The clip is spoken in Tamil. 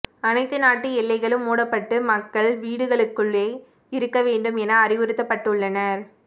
அனைத்து நாட்டு எல்லைகளும் மூடப்பட்டு மக்கள் வீடுகளுக்குள்ளேயே இருக்க வேண்டும் என அறிவுறுத்தப்பட்டுள்ளனர்